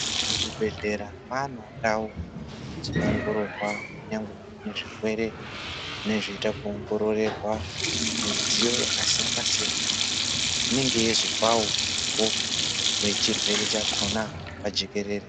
Muzvibhedhela maanewo ndau dzinoongororwa kunyangwe zvirwere zvinenge zveiita kuongororerwa. Midziyo yakasiyana siyana iyo inenge yeizopawo umbowo wechirwere chakona pajekerere.